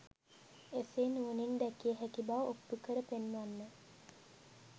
එසේ නුවණින් දැකිය හැකි බව ඔප්පු කර පෙන්වන්න.